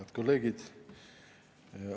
Head kolleegid!